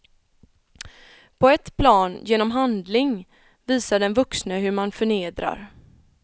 På ett plan, genom handling, visar den vuxne hur man förnedrar.